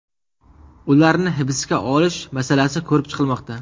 Ularni hibsga olish masalasi ko‘rib chiqilmoqda.